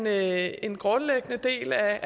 er en grundlæggende del af